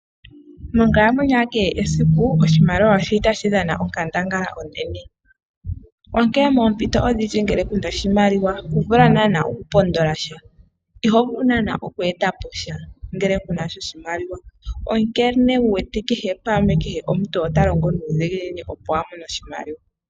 Monkalamwenyo ya kehe esiku oshimaliwa otashi dhana onkandangala onene, onkene moompito odhindji ngele ku na oshimaliwa iho vulu naana okupondola sha, iho vulu oku eta po sha ngele ku na oshimaliwa. Osho wu wete kehe pamwe, kehe omuntu ota longo nuudhigini, opo a mone oshimaliwa.